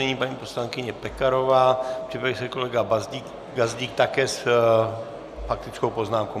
Nyní paní poslankyně Pekarová, připraví se kolega Gazdík, také s faktickou poznámkou.